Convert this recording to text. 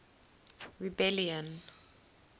rebellion